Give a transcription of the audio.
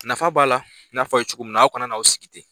Nafa b'a la, n y'a fɔ a ye cogo min na, aw kana n'aw sigi ten.